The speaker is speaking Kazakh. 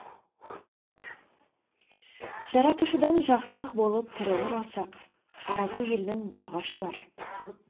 жаратушыдан жақсылық болып тірі оралсақ араку елінің бағы ашылар